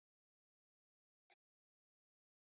Ég vil ekki afsökunarbeiðni.